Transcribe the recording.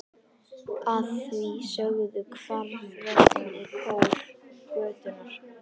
Að því sögðu hvarf röddin í kór götunnar.